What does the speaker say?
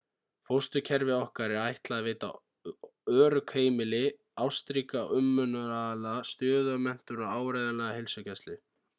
fósturkerfi okkar er ætlað að veita örugg heimili ástríka umönnunaraðila stöðuga menntun og áreiðanlega heilsugæslu